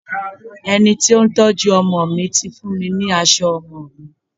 Ẹni tí ó ń tọ́jú ọmọ mi ti fún mi ní aṣọ ọmọ mi.